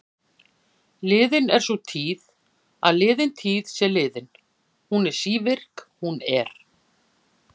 Liðin er sú tíð að liðin tíð sé liðin, hún er sívirk, hún er.